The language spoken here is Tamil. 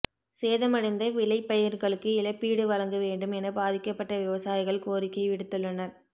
சேதமடைந்த விளைபயிா்களுக்கு இழப்பீடு வழங்க வேண்டும் என பாதிக்கப்பட்ட விவசாயிகள் கோரிக்கை விடுத்துள்ளனா்